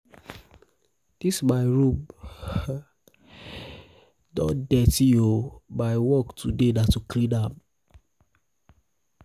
dis my room dis my room don dirty oo my work today na to clean am